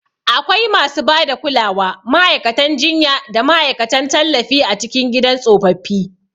Akwai masu ba da kulawa, ma'aikatan jinya, da ma'aikatan tallafi a cikin gidan tsofaffi.